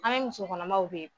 An me musokɔnɔmaw